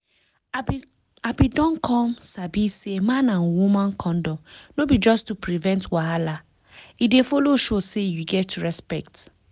i been don come sabi say man and woman condom no be just to prevent wahala e dey follow show say you get respect